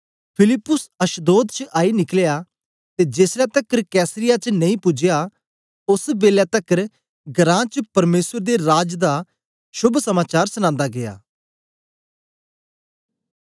फिलिप्पुस अशदोद च आई निकलिया ते जेसलै तकर कैसरिया च नेई पूजया ओस बेलै तकर घरां च परमेसर दे राज दा शोभ समाचार सनांदा गीया